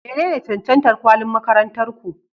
Menene cancantar kwalin makarantar ku?